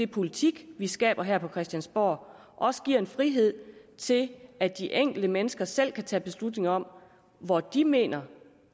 politik vi skaber her på christiansborg også giver en frihed til at de enkelte mennesker selv kan tage en beslutning om hvor de mener